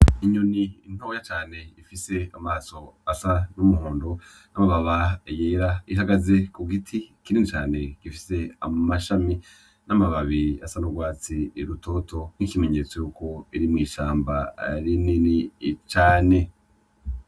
Inyoni ntoya cane ifise amaso asa n' umuhondo n' amababa yera ihagaze kugiti kinini cane gifise amashami n' amababi asa n' ugwatsi rutoto n' ikimenyetso yuko iri mw'ishamba rinini cane.